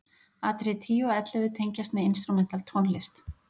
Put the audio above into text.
Atriði 10 og 11 tengjast með instrumental tónlist.